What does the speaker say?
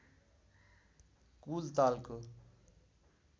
कुल तालको